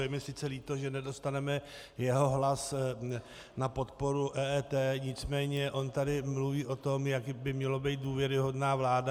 Je mi sice líto, že nedostaneme jeho hlas na podporu EET, nicméně on tady mluví o tom, jak by měla být důvěryhodná vláda.